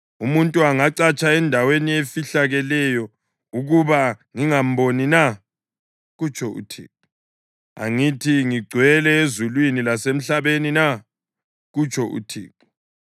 Umuntu angacatsha endaweni efihlakeleyo ukuba ngingamboni na?” kutsho uThixo. “Angithi ngigcwele ezulwini lasemhlabeni na?” kutsho uThixo.